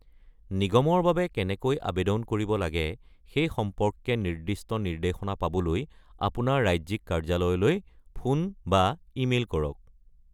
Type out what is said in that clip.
নিগমৰ বাবে কেনেকৈ আবেদন কৰিব লাগে সেই সম্পৰ্কে নিৰ্দিষ্ট নিৰ্দেশনা পাবলৈ আপোনাৰ ৰাজ্যিক কাৰ্যালয়লৈ ফোন বা ইমেইল কৰক।